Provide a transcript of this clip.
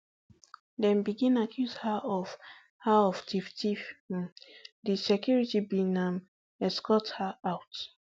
em begin accuse her of her of tifftiff um the security bin um escort her out